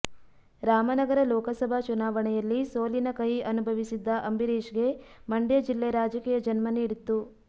ರಾಮನಗರ ಲೋಕಸಭಾ ಚುನಾವಣೆಯಲ್ಲಿ ಸೋಲಿನ ಕಹಿ ಅನುಭವಿಸಿದ್ದ ಅಂಬರೀಶ್ಗೆ ಮಂಡ್ಯ ಜಿಲ್ಲೆ ರಾಜಕೀಯ ಜನ್ಮ ನೀಡಿತ್ತು